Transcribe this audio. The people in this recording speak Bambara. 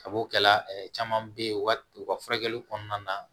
Kab'o kɛla caman be ye u ka u ka furakɛli kɔnɔna na